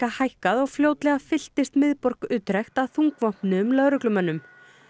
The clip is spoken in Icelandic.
hækkað og fljótlega fylltist miðborg Utrecht af þungvopnuðum lögreglumönnum